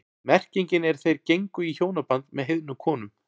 Merkingin er þeir gengu í hjónaband með heiðnum konum.